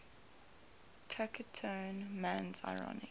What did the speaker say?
taciturn man's ironic